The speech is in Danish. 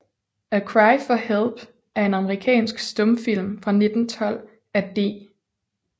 A Cry for Help er en amerikansk stumfilm fra 1912 af D